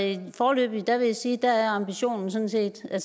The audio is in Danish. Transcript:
jeg vil foreløbig sige at ambitionen sådan set er